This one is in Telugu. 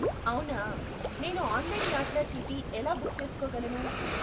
అవునా నేను ఆన్లైన్ యాత్రాచీటీ ఎలా బుక్ చేసుకోగలను?